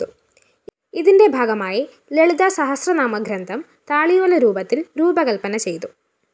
ഇതിന്റെ ഭാഗമായി ലളിതാസഹസ്രനാമ ഗ്രന്ഥം താളിയോല രൂപത്തില്‍ രൂപകല്‍പന ചെയ്തു